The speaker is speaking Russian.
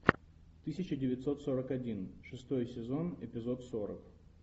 тысяча девятьсот сорок один шестой сезон эпизод сорок